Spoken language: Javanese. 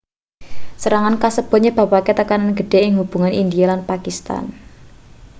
serangan kasebut nyebabake tekanan gedhe ing hubungan india lan pakistan